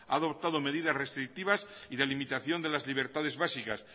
ha adoptado medidas restrictivas y de limitación de las libertades básicas